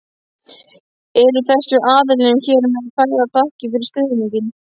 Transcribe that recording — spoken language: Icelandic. Eru þessum aðilum hér með færðar þakkir fyrir stuðninginn.